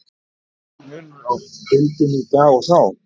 En er mikill munur á deildinni í dag og þá?